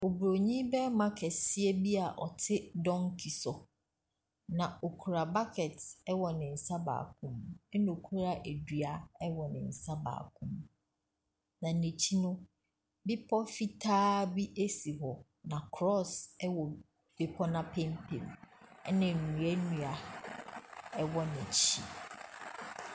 Oburonin barima kɛseɛ bi a ɔte donkey so. Na ɔkura bucket wɔ ne nsa baako mu. Ɛna ɔkita dua wɔ ne nsa baako mu. Na n'akyi no, bepɔ fitaa bi si hɔ, na cross wɔ bepɔ no apampam. Ɛna nnuannua wɔ n'akyi.